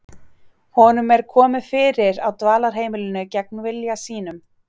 Honum er komið fyrir á dvalarheimilinu gegn vilja sínum.